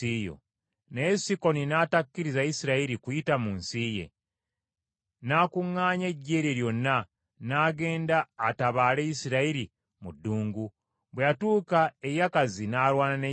Naye Sikoni n’atakkiriza Isirayiri kuyita mu nsi ye. N’akuŋŋaanya eggye lye lyonna, n’agenda atabaale Isirayiri mu ddungu. Bwe yatuuka e Yakazi n’alwana ne Isirayiri.